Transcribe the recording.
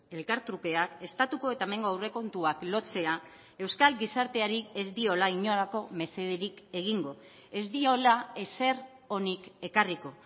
elkartrukeak estatuko eta hemengo aurrekontuak lotzea euskal gizarteari ez diola inolako mesederik egingo ez diola ezer onik ekarriko